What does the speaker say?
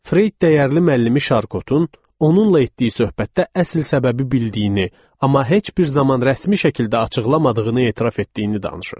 Freyd dəyərli müəllimi Şarkotun onunla etdiyi söhbətdə əsl səbəbi bildiyini, amma heç bir zaman rəsmi şəkildə açıqlamadığını etiraf etdiyini danışır.